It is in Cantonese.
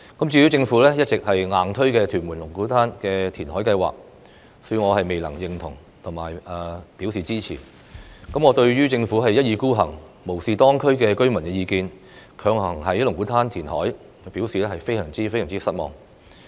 至於政府一直"硬推"的屯門龍鼓灘填海計劃，恕我未能表示認同及支持。對於政府一意孤行，無視當區居民的意見，強行在龍鼓灘填海，我表示非常失望。